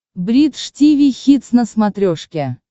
бридж тиви хитс на смотрешке